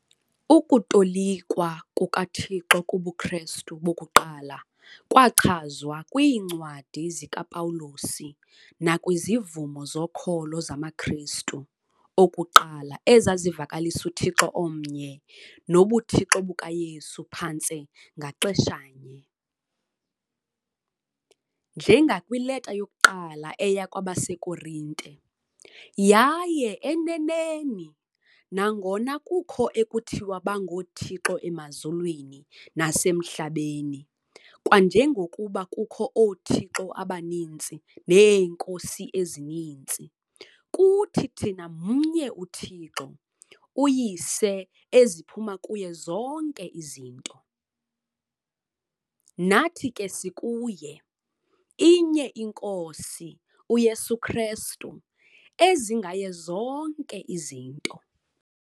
Ukutolikwa kukaThixo kubuKristu bokuqala kwachazwa kwiiNcwadi zikaPawulos nakwizivumo zokholo zamaKristu okuqala ezazivakalisa uThixo omnye nobuThixo bukaYesu phantse ngaxeshanye, njengakwiLeta yokuQala eya kwabaseKorinte- "Yaye eneneni, nangona kukho ekuthiwa bangoothixo emazulwini nasemhlabeni, kwanjengokuba kukho 'oothixo' abaninzi 'neenkosi' ezininzi, kuthi thina mnye uThixo, uYise eziphuma kuye zonke izinto. nathi ke sikuye, inye iNkosi, uYesu Kristu, ezingaye zonke izinto.